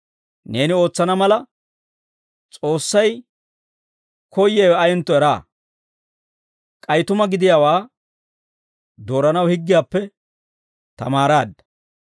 Neeni ootsana mala, S'oossay koyyiyaawe ayentto eraa; k'ay tuma gidiyaawaa dooranaw higgiyaappe tamaaraadda.